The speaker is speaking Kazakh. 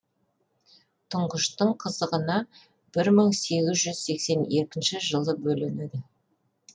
тұңғыштың қызығына бір мың сегіз жүз сексен екінші жылы бөленеді